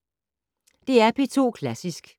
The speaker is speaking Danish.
DR P2 Klassisk